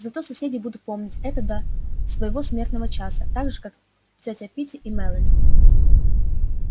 зато соседи будут помнить это до своего смертного часа так же как тётя питти и мелани